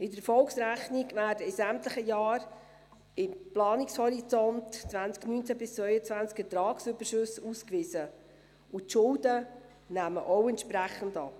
In der Erfolgsrechnung werden in sämtlichen Jahren im Planungshorizont 2019–2022 Ertragsüberschüsse ausgewiesen, und die Schulden nehmen auch entsprechend ab.